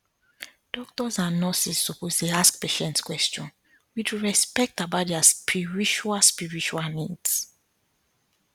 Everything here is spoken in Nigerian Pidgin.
doctors and nurses suppose dey ask patients question with respect about their spiritual spiritual needs